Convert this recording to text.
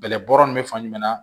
Bɛlɛbɔyɔrɔ ninnu bɛ fan jumɛn na